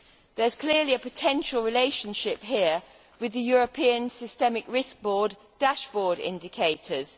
There is clearly a potential relationship here with the European Systemic Risk Board dashboard indicators.